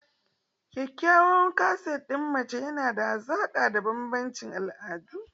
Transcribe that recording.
Kyawawan kaset ɗin mace yana haɓaka da bambancin al'adu.